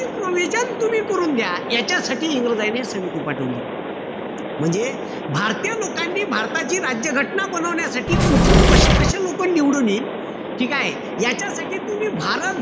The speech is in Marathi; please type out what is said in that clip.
Provision तुम्ही करून घ्या. याच्यासाठी इंग्रजायने समिती पाठवली. म्हणजे भारतीय लोकांनी भारताची राज्य घटना बनवण्यासाठी कुठून कशे-कशे लोकं निवडून येईन ठीकेय? यांच्यासाठी तुम्ही भारत,